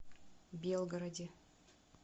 белгороде